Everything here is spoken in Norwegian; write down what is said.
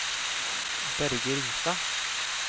Børge Ringstad